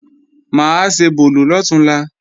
Mà á ṣebòlò lọ̀túnla